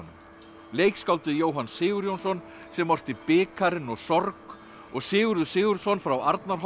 leikskáldið Jóhann Sigurjónsson sem orti bikarinn og sorg og Sigurður Sigurðsson frá Arnarholti